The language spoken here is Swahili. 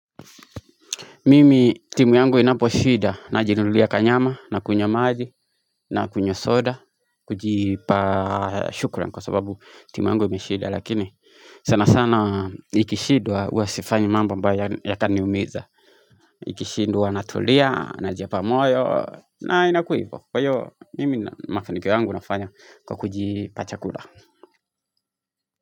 Mimi timu yangu inapo shida najinunulia kanyama na kunywa maji na kunywa soda kujipa shukran kwa sababu timu yangu imeshida Lakini sana sana ikishidwa uwasifanyi mamba mbayo yataniumiza Ikishidwa natulia na jepa moyo na inakuipo Kwa hiyo mimi makinikyo yangu nafanya kwa kujipa chakula.